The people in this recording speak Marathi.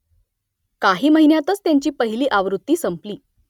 काही महिन्यांतच त्याची पहिली आवृत्ती संपली